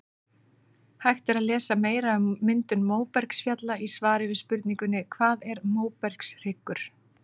Hægt er að lesa meira um myndun móbergsfjalla í svari við spurningunni Hvað er móbergshryggur?